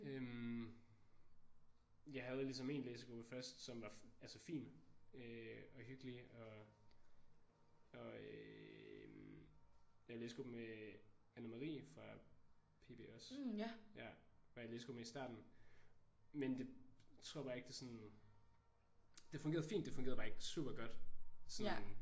Øh jeg havde ligesom en læsegruppe først som var altså fin øh og hyggelig og og øh jeg var i læsegruppe med Anne-Marie fra PB også. Ja var jeg i læsegruppe med i starten men det tror bare ikke det sådan det fungerede fint men det fungerede bare ikke super godt sådan